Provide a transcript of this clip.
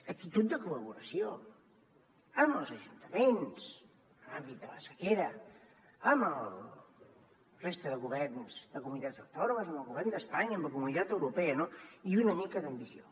actitud de col·laboració amb els ajuntaments en l’àmbit de la sequera amb la resta de governs de comunitats autònomes amb el govern d’espanya amb la comunitat europea i una mica d’ambició